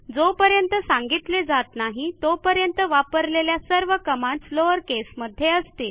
जोपर्यंत सांगितले जात नाही तोपर्यंत वापरलेल्या सर्व कमांडस लोअर केसमध्ये असतील